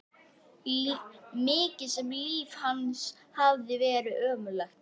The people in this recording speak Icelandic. Mikið sem líf hans hafði verið ömurlegt.